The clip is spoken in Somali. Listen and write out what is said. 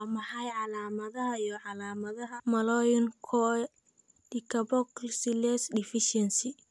Waa maxay calaamadaha iyo calaamadaha Malonyl CoA decarboxylase deficiency?